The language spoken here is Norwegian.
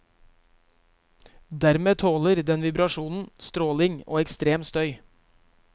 Dermed tåler den vibrasjoner, stråling og ekstrem støy.